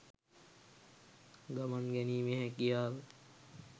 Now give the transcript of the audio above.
ගමන් ගැනීමේ හැකියාව.